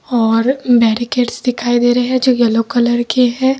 और बेरीगेट्स दिखाई दे रहे हैं जो येलो कलर के है।